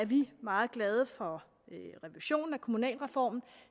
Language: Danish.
vi meget glade for revisionen af kommunalreformen